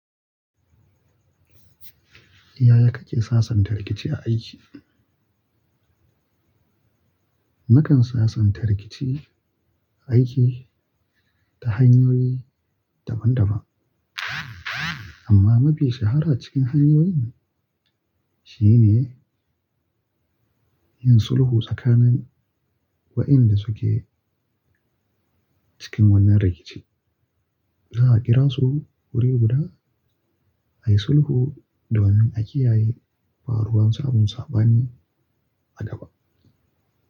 Yaya kake sasanta rikici a aiki? Mukan sasanta rikici aiki ta hanyoyi daban-daban, amma mafi shahara cikin hanyoyin shi ne yin sulhu tsakanin waɗanda suke cikin wannan rikici. Zaa kira su wuri guda ayi sulhu domin a kiyaye, faruwan samun sabani a gaba.